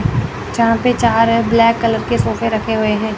यहाँ पर चार ब्लैक कलर के सोफे रखे हुए हैं।